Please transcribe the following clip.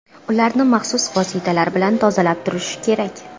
Ularni maxsus vositalar bilan tozalab turish kerak.